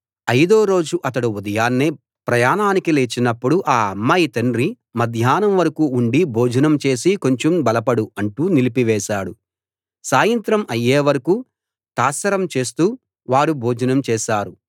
అయిదో రోజు అతడు ఉదయాన్నే ప్రయాణానికి లేచినప్పుడు ఆ అమ్మాయి తండ్రి మధ్యాహ్నం వరకూ ఉండి భోజనం చేసి కొంచెం బలపడు అంటూ నిలిపివేశాడు సాయంత్రం అయ్యేవరకూ తాత్సారం చేస్తూ వారు భోజనం చేసారు